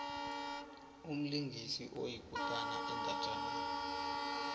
umlingisi oyikutani endatjaneni